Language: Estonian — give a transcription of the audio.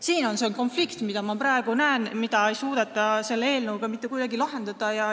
Siin on see konflikt, mida ma praegu näen ja mida ei suudeta selle eelnõuga mitte kuidagi lahendada.